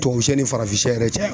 Tubabu sɛ ni farafin sɛ yɛrɛ cɛ